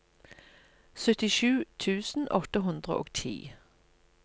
syttisju tusen åtte hundre og ti